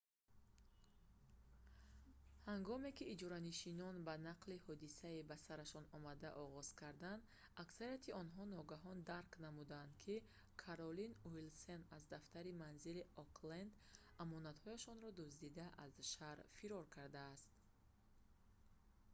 ҳангоме ки иҷоранишинон ба нақли ҳодисаи ба сарашон омада оғоз карданд аксарияти онҳо ногаҳон дарк намуданд ки каролин уилсон аз дафтари манзилии окленд амонатҳояшонро дуздида аз шаҳр фирор кардааст